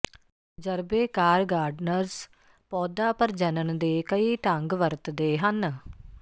ਤਜਰਬੇਕਾਰ ਗਾਰਡਨਰਜ਼ ਪੌਦਾ ਪ੍ਰਜਨਨ ਦੇ ਕਈ ਢੰਗ ਵਰਤਦੇ ਹਨ